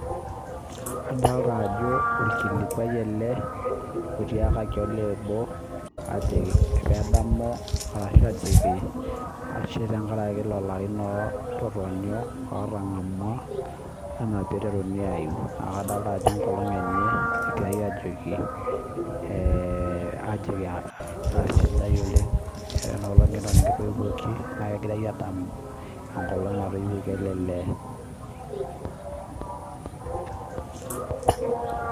Adolita ajo orkilikwai ele otiakaki olee obo ajoki pedamu ashu ajoki ashe tenkaraki lelo arin loototonyo ootang'amwa enaa pee iteruni aaium. Naa kadolita ajo enkolong enye egirai ajoki, ajoki aisidai oleng enoolong' nekitoiwuoki naa egirai aadamu enkolong natoiwuoki ele lee